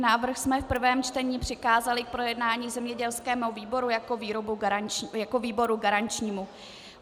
Návrh jsme v prvém čtení přikázali k projednání zemědělskému výboru jako výboru garančnímu.